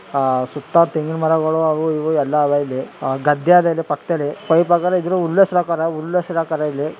ಸುತ್ತ ತೆಂಗಿನ ಮರಗಳು ಅವು ಇವು ಎಲ್ಲ ಅವೇ ಇಲ್ಲಿ ಗದ್ದೆ ಅದೇ ಇದರ ಪಕ್ಕದಲ್ಲಿ ಪೈಪ್ ಹಾಕವ್ರೆ ಇದ್ರೂ ಉಲ್ಲೇಸ್ರು ಉಲ್ಲೇಸ್ರು ಹಾಕವರೇ ಇಲ್ಲಿ .